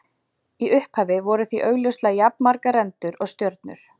Í upphafi voru því augljóslega jafnmargar rendur og stjörnur.